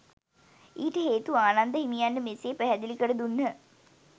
ඊට හේතු ආනන්ද හිමියන්ට මෙසේ පැහැදිලි කර දුන්හ.